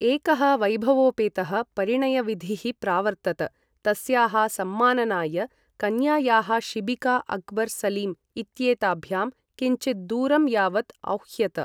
एकः वैभवोपेतः परिणयविधिः प्रावर्तत, तस्याः सम्माननाय कन्यायाः शिबिका अक्बर् सलीम् इत्येताभ्यां किञ्चित् दूरं यावत् औह्यत।